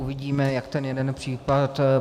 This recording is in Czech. Uvidíme, jak ten jeden případ.